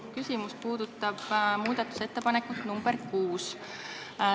Minu küsimus puudutab muudatusettepanekut nr 6.